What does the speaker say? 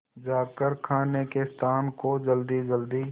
जाकर खाने के स्थान को जल्दीजल्दी